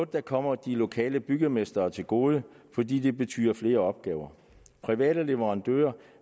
der kommer de lokale bygmestre til gode fordi det betyder flere opgaver private leverandører